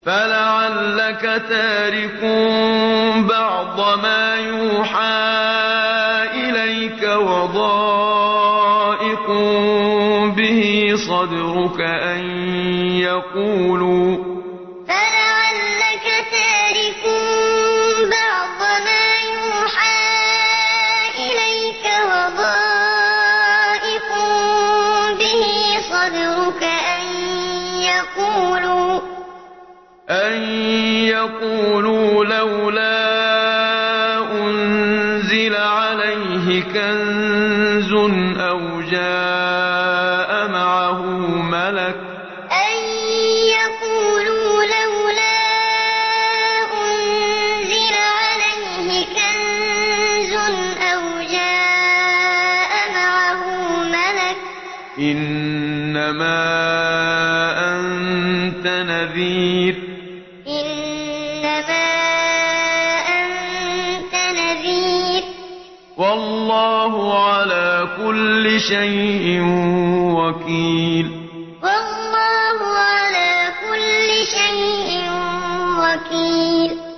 فَلَعَلَّكَ تَارِكٌ بَعْضَ مَا يُوحَىٰ إِلَيْكَ وَضَائِقٌ بِهِ صَدْرُكَ أَن يَقُولُوا لَوْلَا أُنزِلَ عَلَيْهِ كَنزٌ أَوْ جَاءَ مَعَهُ مَلَكٌ ۚ إِنَّمَا أَنتَ نَذِيرٌ ۚ وَاللَّهُ عَلَىٰ كُلِّ شَيْءٍ وَكِيلٌ فَلَعَلَّكَ تَارِكٌ بَعْضَ مَا يُوحَىٰ إِلَيْكَ وَضَائِقٌ بِهِ صَدْرُكَ أَن يَقُولُوا لَوْلَا أُنزِلَ عَلَيْهِ كَنزٌ أَوْ جَاءَ مَعَهُ مَلَكٌ ۚ إِنَّمَا أَنتَ نَذِيرٌ ۚ وَاللَّهُ عَلَىٰ كُلِّ شَيْءٍ وَكِيلٌ